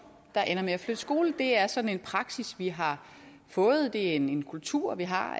der ender med at flytte skole det er sådan en praksis vi har fået det er en kultur vi har